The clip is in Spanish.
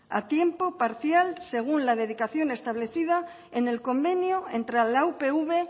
a tiempo parcial según la dedicación establecida en el convenio entre la upv